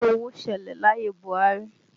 Àìsí owó ṣẹlẹ̀ láyé Buhari